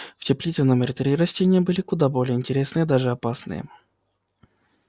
в теплице номер три растения были куда более интересные даже опасные